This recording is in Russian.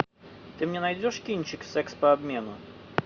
ты мне найдешь кинчик секс по обмену